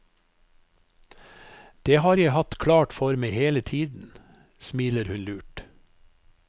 Det har jeg hatt klart for meg hele tiden, smiler hun lurt.